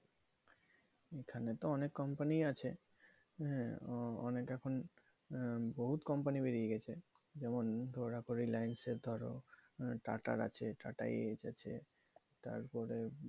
এখানে তো অনেক company ই আছে, হ্যাঁ অনেক এখন বহুত company বেরিয়ে গেছে। যেমন ধরো tata র আছে tata ace তারপরে